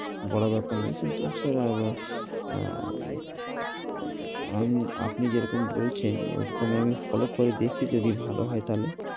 বড় ব্যাপার নেই, কিন্তু স্যার আবার অ্যা আপনি যেরকম বলছেন, ঐ রকম আমি follow করে দেখি, যদি ভালো হয় তাইলে।